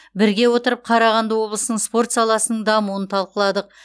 бірге отырып қарағанды облысының спорт саласының дамуын талқыладық